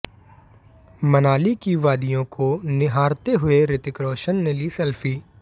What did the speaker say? मनाली की वादियों को निहारते हुए रितिक रोशन ने ली सेल्फी